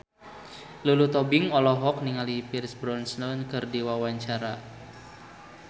Lulu Tobing olohok ningali Pierce Brosnan keur diwawancara